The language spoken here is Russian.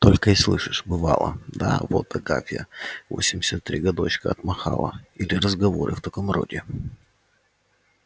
только и слышишь бывало да вот агафья восемьдесят три годочка отмахала или разговоры в таком роде